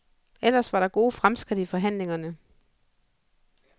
Ellers var der gode fremskridt i forhandlingerne.